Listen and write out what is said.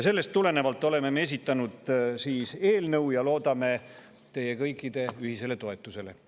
Sellest tulenevalt oleme esitanud eelnõu ja loodame kõikide ühisele toetusele.